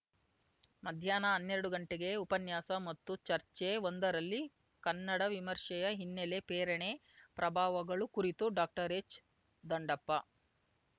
ಮಧ್ಯಾಹ್ನ ಹನ್ನೆರಡು ಗಂಟೆಗೆ ಉಪನ್ಯಾಸ ಮತ್ತು ಚರ್ಚೆಒಂದರಲ್ಲಿ ಕನ್ನಡ ವಿಮರ್ಶೆಯ ಹಿನ್ನೆಲೆ ಪ್ರೇರಣೆ ಪ್ರಭಾವಗಳು ಕುರಿತು ಡಾಕ್ಟರ್ ಎಚ್‌ದಂಡಪ್ಪ